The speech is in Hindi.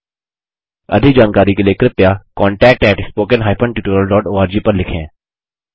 अधिक जानकारी के लिए कृपया contactspoken tutorialorg पर लिखें